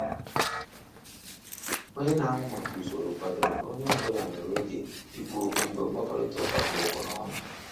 Onye n'ahụ maka usoro kwadoro na onye ọ bụla nwere oge i kwu okwu mgbe mkpakorịta ụka kpụ ọkụ n'ọnụ.